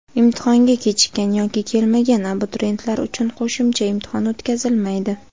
Imtihonga kechikkan yoki kelmagan abituriyentlar uchun qo‘shimcha imtihon o‘tkazilmaydi.